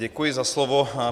Děkuji za slovo.